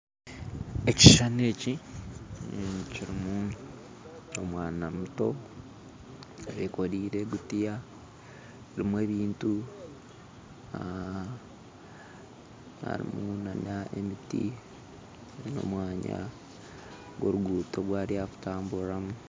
Ekishuushani eki kirimu omwaana muto ayekoreire egutiya erimu ebintu harimu na n'emiti n'omwanya gw'oruguto ogu ari kutamburiramu